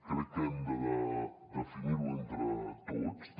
crec que hem de definir ho entre tots també